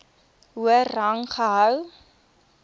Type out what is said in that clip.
hoër rang gehou